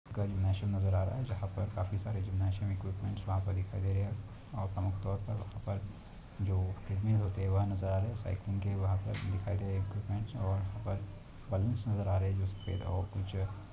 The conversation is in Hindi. नैशन नजर आ रहा है जहा पर काफी सारे जिम्नैज़ीअम इक्विप्मन्ट वहा पर दिखाई दे रहे है और अमुक तौर पर वहा पर जो ट्रेडमिल होते है वह नजर आ रहे है साइकिलिंग वहा पर दिखाई दे रहे हे इक्विप्मन्ट और वहा पर बालून्स नजर आ रहे हे जो सफेद है और कुछ --